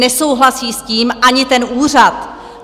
Nesouhlasí s tím ani ten úřad.